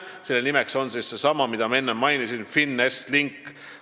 Selle nimi on seesama, mida ma enne mainisin: FinEst Link.